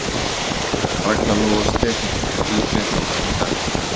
Ragna Lóa Stefánsdóttir í Fréttablaðinu í dag.